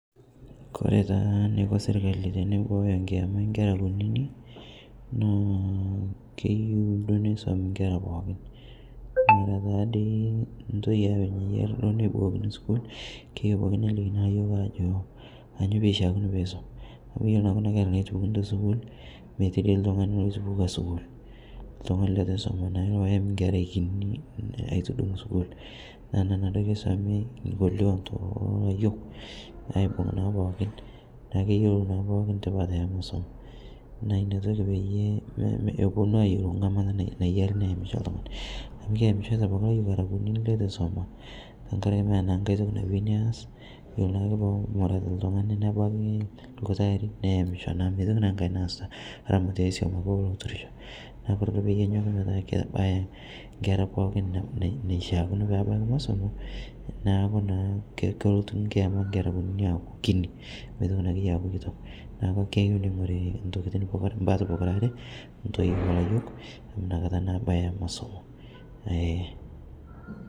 Ore taa enikoo sirkali tenibooyo kiyama oo nkera kutiti naa keyieu duo nisumi enkera pookin ore dii ntoyie keyieu netii sukuul naa kishakino nelikinj Ajo kainyio pee eisum amu ore enkera meyieu nitunguarii sukuul naa enatoki esomi layiok neeku keyiolo pookin tipat enkisuma naa enakata epuonu ayiolou erishata naishaa neyimi oltung'ani amu keyamisho Kuna kera kutiti amu eitu esuma neeku naa meeta aitoki naas naa kelo ake oltung'ani nebaiki irkuti arin neyami neeku ore pee eku kebaya enkera pookin enaishakino nebaiki masomo neeku naa kelotu enkiama Akinyi mitoki akuu neeku keyieu ning'ori mbaat pookira are entoyie olayiok amu enakata naa ebaya masomo